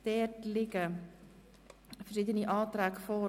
Es liegen mehrere Anträge vor.